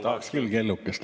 Tahaks küll kellukest.